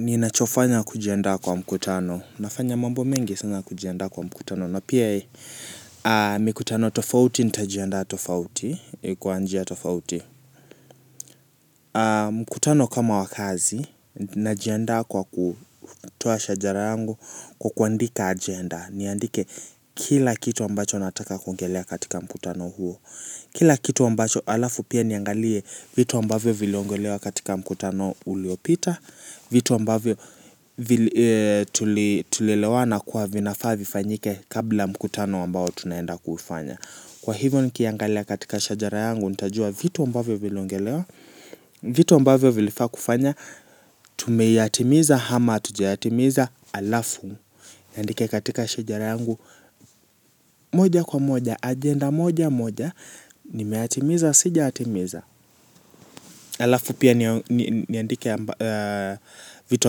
Ni nachofanya kujianda kwa mkutano, nafanya mambo mengi sana kujienda kwa mkutano, na pia mikutano tofauti, nitajienda tofauti, kwanjia tofauti. Mkutano kama wakazi, najienda kwa kutoa shajarangu kukwandika agenda, niandike kila kitu ambacho nataka kuongelea katika mkutano huo. Kila kitu ambacho alafu pia niangalie vitu ambavyo viliongelewa katika mkutano uliopita. Vitu ambavyo tulilewa na kwa vinafavi fanyike kabla mkutano ambao tunaenda kufanya. Kwa hivyo ni kiangalia katika shajara yangu nitajua vitu ambavyo viliongelewa. Vitu ambavyo vilifaa kufanya tumeiatimiza hama tujiatimiza alafu nandike katika shajara yangu moja kwa moja agenda moja moja. Nimeatimiza, sijaatimiza. Alafu pia niandike vitu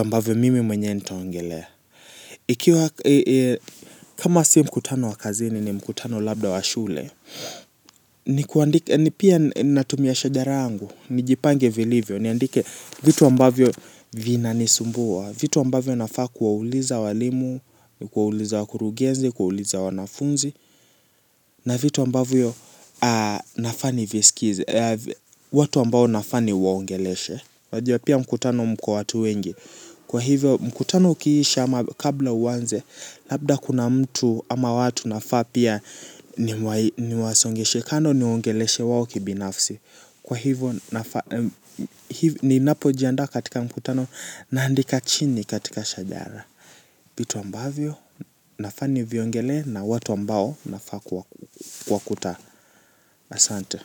ambavyo mimi mwenye nitaongelea. Ikiwa kama si mkutano wakazini ni mkutano labda washule. Ni pia natumia shajarangu. Nijipange velivyo, niandike vitu ambavyo vina nisumbua. Vitu ambavyo nafaa kuwauliza walimu, kuwauliza wakurugenzi, kuwauliza wanafunzi. Na vitu ambavyo nafani viskizi. Watu ambao nafani waongeleshe. Wajua pia mkutano mko watu wengi. Kwa hivyo mkutano ukiishi ama kabla uwanze. Labda kuna mtu ama watu nafaa pia niwasongeshe. Kando niwaongeleshe wao kibinafsi. Kwa hivyo nafaa ni napojianda katika mkutano naandika chini katika shajara vitu ambavyo nafani viongele na watu ambao nafaa kwa kuta asante.